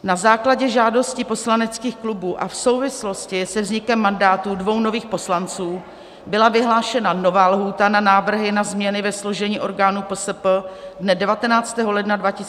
Na základě žádosti poslaneckých klubů a v souvislosti se vznikem mandátu dvou nových poslanců byla vyhlášena nová lhůta na návrhy na změny ve složení orgánů PSP dne 19. ledna 2021, a to do 20. ledna 2021 do 17 hodin.